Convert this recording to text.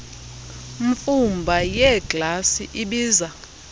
mfumba yeeglasi ibiza